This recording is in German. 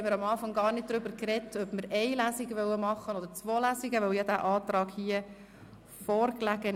Nun haben wir am Anfang gar nicht darüber gesprochen, ob wir eine Lesung oder zwei Lesungen durchführen wollen, weil dieser Antrag ja vorlag.